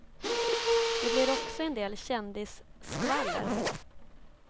Det blir också en del kändisskvaller.